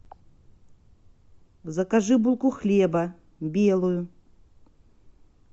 закажи булку хлеба белую